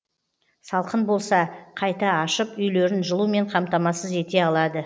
салқын болса қайта ашып үйлерін жылумен қамтамасыз ете алады